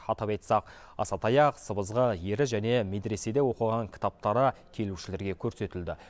атап айтсақ аса таяқ сыбызғы ері және медреседе оқыған кітаптары келушілерге көрсетілді